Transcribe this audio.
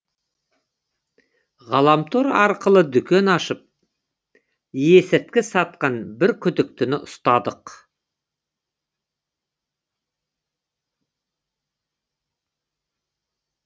ғаламтор арқылы дүкен ашып есірткі сатқан бір күдіктіні ұстадық